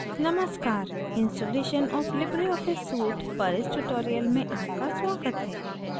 नमस्कार ! installation of libreoffice suite पर इस tutorial में आपका स्वागत है